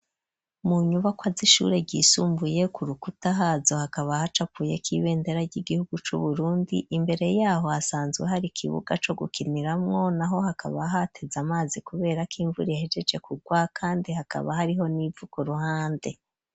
Mu nyubakwa z'ishure ryisumbuye ku rukuta hazo hakaba ahacapuye k'ibendera ry'igihugu c'Uburundi, imbere yaho hasanzwe hari ikibuga co gukiniramwo, naho hakaba hateze amazi kubera k'imvura ihejeje kugwa, kandi hakaba hariho n'ivu ku ruhande.